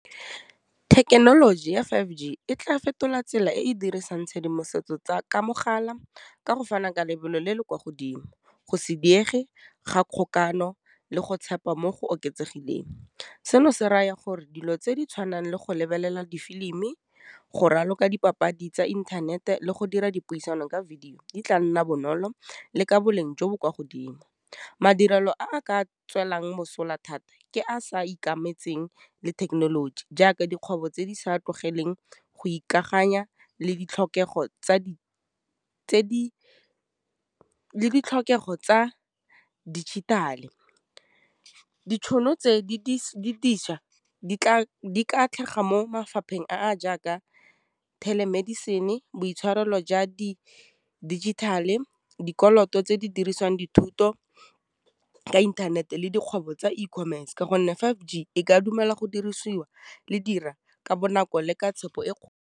Thekenoloji ya five G e tla fetola tsela e e dirisang tshedimosetso tsa ka mogala ka go fana ka lebelo le le kwa godimo, go se diege ga kgokagano, le go tshepa mo go oketsegileng, seno se raya gore dilo tse di tshwanang le go lebelela difilimi, go raloka dipapadi tsa inthanete, le go dira dipuisano ka video di tla nna bonolo le ka boleng jo bo kwa godimo. Madirelo a a ka tswelelang mosola thata, ke a sa ikemetseng le thekenoloji jaaka dikgwebo tse di sa tlogele teng go ikaganya ditlhokego tsa dijithale. Ditšhono tse di tla mo mafapheng a jaaka telemedicine-e, boitshwarelo jwa di digital-e, dikoloto tse di dirisiwang dithuto tsa inthanete, le dikgwebo tsa E-commerce ka gonne five G e ka dumela go dirisiwa le dira ka bonako le ka tshepo e .